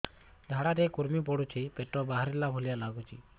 ଝାଡା ରେ କୁର୍ମି ପଡୁଛି ପେଟ ବାହାରିଲା ଭଳିଆ ଲାଗୁଚି